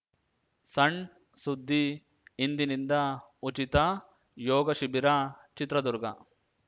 ಸಣ್‌ ಸುದ್ದಿ ಇಂದಿನಿಂದ ಉಚಿತ ಯೋಗ ಶಿಬಿರ ಚಿತ್ರದುರ್ಗ